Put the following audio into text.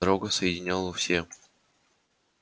дорога соединяла все